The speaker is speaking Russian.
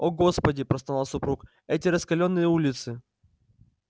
о господи простонал супруг эти раскалённые улицы